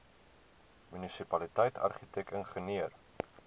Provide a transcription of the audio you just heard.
munisipaliteit argitek ingenieur